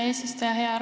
Hea eesistuja!